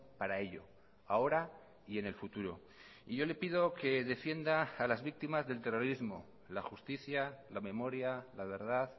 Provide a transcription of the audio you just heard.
para ello ahora y en el futuro y yo le pido que defienda a las víctimas del terrorismo la justicia la memoria la verdad